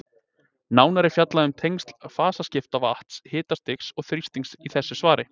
Nánar er fjallað um tengsl fasaskipta vatns, hitastigs og þrýstings í þessu svari.